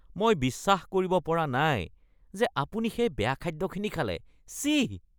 মই বিশ্বাস কৰিব পৰা নাই যে আপুনি সেই বেয়া খাদ্যখিনি খালে। ছিঃ!